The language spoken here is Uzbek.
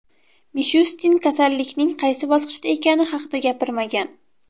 Mishustin kasallikning qaysi bosqichda ekani haqida gapirmagan.